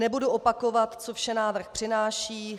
Nebudu opakovat, co vše návrh přináší.